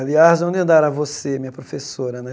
Aliás, onde eu andará você, minha professora, né?